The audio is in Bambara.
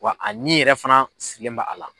Wa a ɲɛ yɛrɛ fana sigilen b'a la.